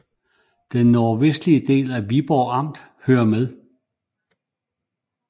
Den nordvestlige del af Viborg Amt hører med